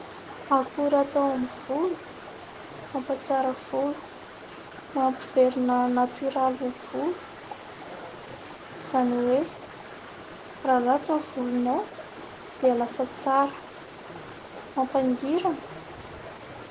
Akora atao amin'ny volo, mampatsara volo, mampiverina natioraly ny volo, izany hoe : raha ratsy ny volonao dia lasa tsara, mampangirana.